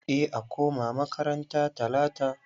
Za a koma makaranta talata.